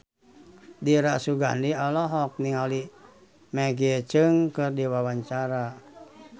Dira Sugandi olohok ningali Maggie Cheung keur diwawancara